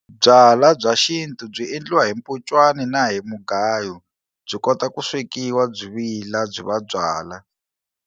Byalwa bya xintu byi endliwa hi mpunchwana na hi mugayo byi kota ku swekiwa byi vila byi va byalwa.